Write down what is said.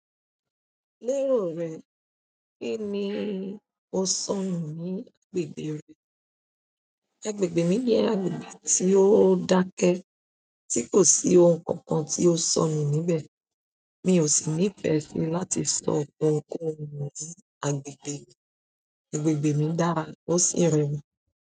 Lérò rẹ, kíni ó ṣọnù ní agbègbè rẹ. Agbègbè mí jẹ́ agbègbè tí ó dáke tí kò sí ohun kankan tí ó ṣònu níbẹ̀. Mi ò sì ní ìfẹ́ si láti sọ ọ̀pọ̀ nǹkan nu ní agbègbè mí. Agbègbè mí dára, ó sì rẹwà.